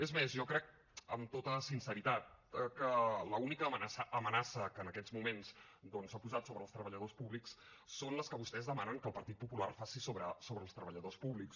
és més jo crec amb tota sinceritat que l’única amenaça que en aquests moments doncs s’ha posat sobre els treballadors públics és la que vostès demanen que el partit popular faci sobre els treballadors públics